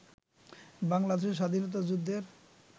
বাংলাদেশের স্বাধীনতা যুদ্ধের